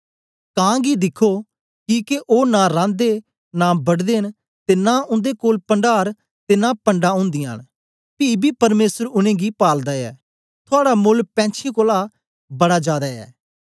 कां गी दिख्खो किके ओ नां रांदे नां बढदे न ते नां उन्दे कोल पण्डार ते पणढां ओन्दीयां न पी बी परमेसर उनेंगी पालदा ऐ थुआड़ा मोल्ल पैंछीयैं कोलां बड़ा जादै ऐ